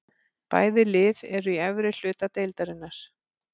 Bæði lið eru í efri hluta deildarinnar.